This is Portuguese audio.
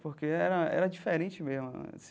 Porque era era diferente mesmo.